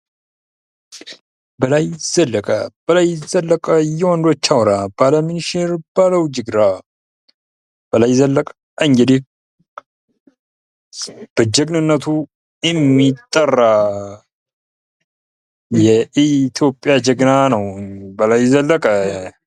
በላይ ዘለቀ:-በላይ ዘለቀ የወንዶች አውራ፤ ባለ ምንሽር ባለ ውጅግራ። በላይ ዘለቀ እንግዲህ በጀግንነቱ የሚጠራ የኢትዮጵያ ጀግና ነው። በላይ ዘለቀ!